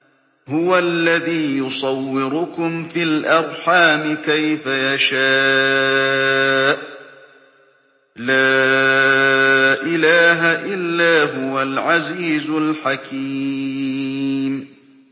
هُوَ الَّذِي يُصَوِّرُكُمْ فِي الْأَرْحَامِ كَيْفَ يَشَاءُ ۚ لَا إِلَٰهَ إِلَّا هُوَ الْعَزِيزُ الْحَكِيمُ